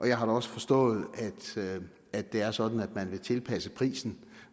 jeg har da også forstået at det er sådan at man vil tilpasse prisen